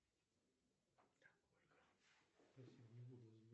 салют какие виды истории персии ты знаешь